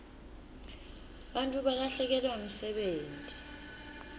bantfu balahlekelwa msebenti